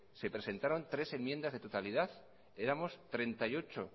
se presentaron tres enmiendas de totalidad éramos treinta y ocho